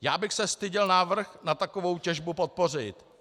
Já bych se styděl návrh na takovou těžbu podpořit.